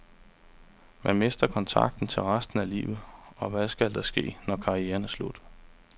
Man mister kontakten til resten at livet, og hvad skal der ske, når karrieren er slut.